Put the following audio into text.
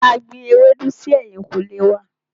A gbin ewédú si ẹ̀yìnkùlé wá.